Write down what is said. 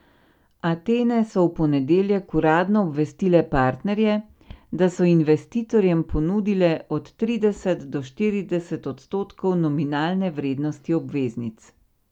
Atene so v ponedeljek uradno obvestile partnerje, da so investitorjem ponudile od trideset do štirideset odstotkov nominalne vrednosti obveznic.